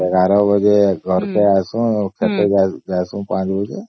୧୧ ବାଜେ ଘରକେ ଆସୁ ଖେତ କୁ ଯାଏସୁଁ ୫ ବାଜେ